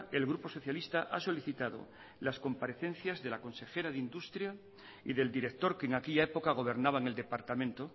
el grupo socialista ha solicitado las comparecencias de la consejera de industria y del director que en aquella época gobernaba en el departamento